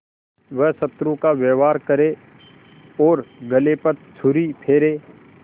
वह शत्रु का व्यवहार करे और गले पर छुरी फेरे